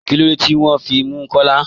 Kílódé tí wọn fí mú Kọ́là?